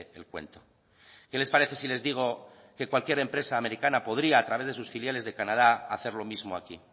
el cuento qué les parece si les digo que cualquier empresa americana podría a través de sus filiales de canadá hacer lo mismo aquí